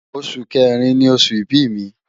Oṣu Kẹrin ni oṣu ibi mi